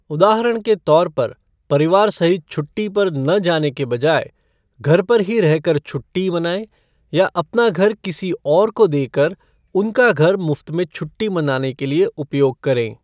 उदाहरण के तौर पर, परिवार सहित छुट्टी पर न जाने के बजाय, घर पर ही रह कर छुट्टी मनाएँ या अपना घर किसी और को देकर, उनका घर मुफ्त में छुट्टी मनाने के लिए उपयोग करें।